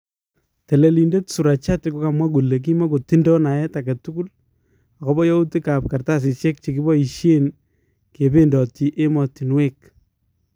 Teleliidet Surachate kokamwa kole kimakotindoo naeet agetukul akobo yautiik ab kartasisyeek chebiyaisyeen kebeendotii emotunweek